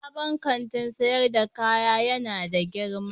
Sabon Kantin sayar da kaya ya na da girma.